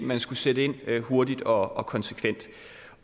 man skal sætte ind hurtigt og og konsekvent